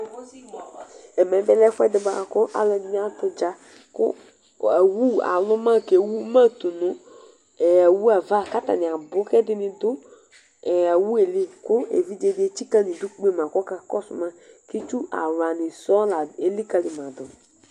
Ɛmɛ bilɛ ɛfʋɛdi bʋakʋ alʋɛdini atʋ udza kʋ awu aluma kʋ ewuma tʋnʋ awu yɛ ava kʋ atani abʋ kʋ ɛdini dʋ awʋ yɛli kʋ evidze di etsika nʋ idʋ kpema kʋ ɔka kɔsʋ ma kʋ itsu awlani sɔŋ lelikali ma dʋ